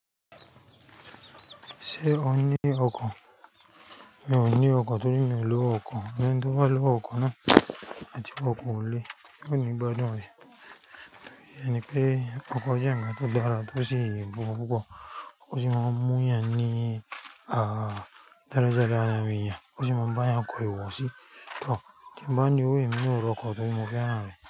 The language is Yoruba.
Ṣé o ní ọkọ̀? Mi ò ní ọkọ̀ torí mi ò lowo ọkọ̀, ẹni tí ó bá lowo ọkọ̀ náà àti r'ọkọ̀ olè, ní gbádùn rẹ̀. Torí ẹni pé ọkọ̀ jẹ́ ǹkan tó dára tó sì ń bọ̀, kó sì máa mú ìyàn ní ah daradara ni a ń rí, ó sì máa ń bá a kọ ìwọ̀sí tán. Kí n bá níwò, èmi ò ní ọkọ̀ torí mo fẹ́ràn rẹ̀.